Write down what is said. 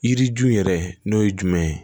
Yiri ju yɛrɛ n'o ye jumɛn ye